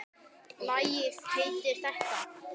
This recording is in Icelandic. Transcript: Lagið heitir þetta.